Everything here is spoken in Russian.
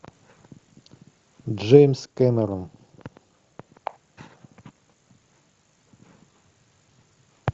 джеймс кэмерон